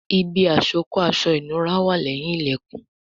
Ibi àsokọ́ aṣọ ìnura wà leyin ilẹkùn